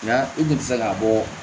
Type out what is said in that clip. Nka i kun tɛ se k'a bɔ